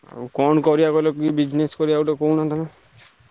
ଆଉ କଣ କରିଆ କହିଲ କି business କରିବ କହୁନ ତମେ।